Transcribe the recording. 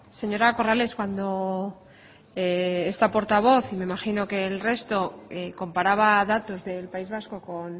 señora corrales cuando esta portavoz y me imagino que el resto comparaba datos del país vasco con